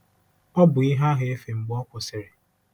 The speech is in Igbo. Ọ bụ ihe ahụ efe mgbe ọ kwụsịrị. ”